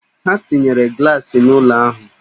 Ha tinyere glaasị n'ụlọ ahụ